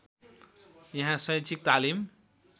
यहाँ शैक्षिक तालिम